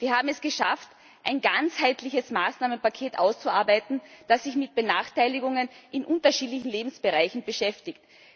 Wir haben es geschafft, ein ganzheitliches Maßnahmenpaket auszuarbeiten, das sich mit Benachteiligungen in unterschiedlichen Lebensbereichen beschäftigt.